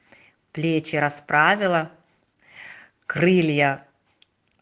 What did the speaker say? плечи расправила крылья